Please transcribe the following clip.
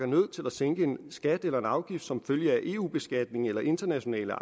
nødt til at sænke en skat eller afgift som følge af eu beslutninger eller internationale